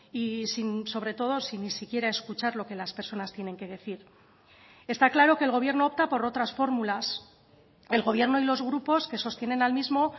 y sobre todo sin ni siquiera escuchar lo que las personas tienen que decir está claro que el gobierno opta por otras fórmulas el gobierno y los grupos que sostienen al mismo